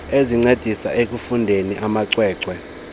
ezincedisa ekufundiseni amacwecwe